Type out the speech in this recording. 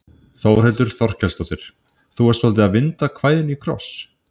Þórhildur Þorkelsdóttir: Þú ert svolítið að vinda kvæðinu í kross?